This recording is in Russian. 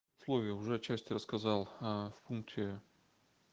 условия уже части рассказал в пункте